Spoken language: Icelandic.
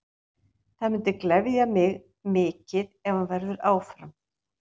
Það myndi gleðja mig mikið ef hann verður áfram.